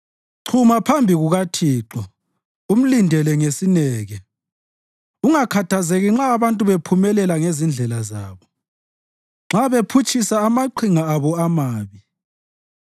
Chuma phambi kukaThixo umlindele ngesineke; ungakhathazeki nxa abantu bephumelela ngezindlela zabo, nxa bephutshisa amaqhinga abo amabi.